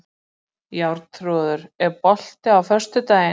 Jarþrúður, er bolti á föstudaginn?